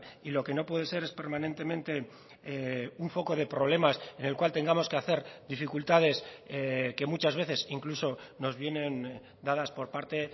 y lo que no puede ser es permanentemente un foco de problemas en el cual tengamos que hacer dificultades que muchas veces incluso nos vienen dadas por parte